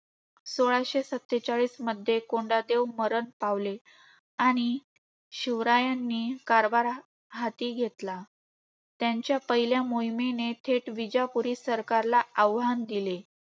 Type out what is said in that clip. सोळाशे सत्तेचाळीसमध्ये कोंडदेव मरण पावले. आणि शिवरायांनी कारभार हा~ हाती घेतला. त्यांच्या पहिल्या मोहिमेने थेट विजापुरी सरकारला आव्हान दिले.